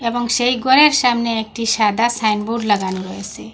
এবং সেই ঘরের সামনে একটি সাদা সাইনবোর্ড লাগানো রয়েসে।